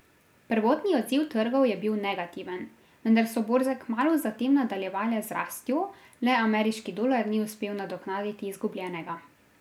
Prvotni odziv trgov je bil negativen, vendar so borze kmalu zatem nadaljevale z rastjo, le ameriški dolar ni uspel nadoknaditi izgubljenega.